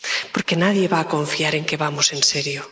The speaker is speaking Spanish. Porque nadie va a confiar en que vamos en serio.